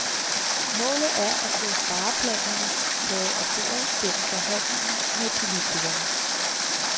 Målet er at få spareplanerne taget af bordet gennem forhandlinger med politikerne.